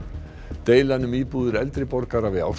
deilan um íbúðir eldri borgara við